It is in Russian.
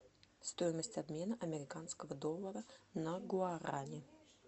стоимость обмена американского доллара на гуарани